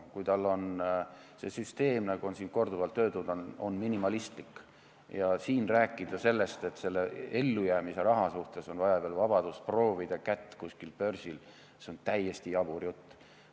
Kui tal on sissetulek, nagu on siin korduvalt öeldud, minimaalne, siis rääkida sellest, et ellujäämiseks vajaliku raha üle otsustamiseks on vaja tal vabadust, proovida kätt kuskil börsil – see on täiesti jabur jutt.